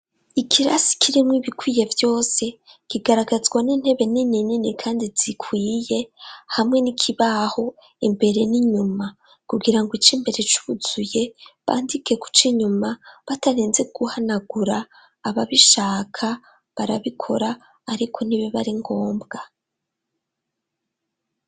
Ikirasi kirimw’ibikwiye vyose , kigaragazwa n'intebe nini nini kandi zikwiye ,hamwe n'ikibaho imbere n'inyuma kugira ngo ic ‘imbere cuzuye bandike kuc ‘inyuma batarinze guhanagura aba bishaka barabikora ariko ntibib’ari ngombwa.